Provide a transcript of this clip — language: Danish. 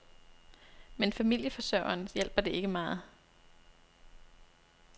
Men familieforsørgeren hjælper det ikke meget.